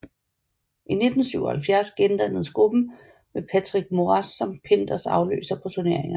I 1977 gendannedes gruppen med Patrick Moraz som Pinders afløser på turneerne